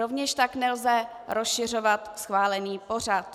Rovněž tak nelze rozšiřovat schválený pořad.